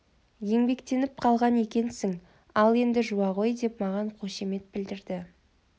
еңбектеніп қалған екенсің ал енді жуа ғой деп маған қошемет білдірді